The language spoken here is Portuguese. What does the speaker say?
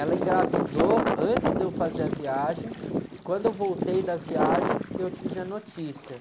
Ela engravidou antes de eu fazer a viagem e quando eu voltei da viagem que eu tive a notícia.